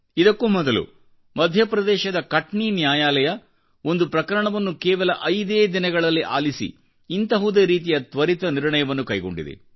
ಇದಕ್ಕೂ ಮೊದಲು ಮಧ್ಯಪ್ರದೇಶದ ಕಟ್ನೀ ನ್ಯಾಯಾಲಯವು ಒಂದು ಪ್ರಕರಣವನ್ನು ಕೇವಲ ಐದೇ ದಿನಗಳಲ್ಲಿ ಆಲಿಸಿ ಇಂತಹುದೇರೀತಿಯ ತ್ವರಿತ ನಿರ್ಣಯವನ್ನು ಕೈಗೊಂಡಿದೆ